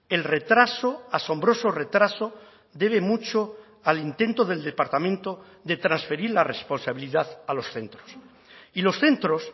el retraso asombroso retraso debe mucho al intento del departamento de transferir la responsabilidad a los centros y los centros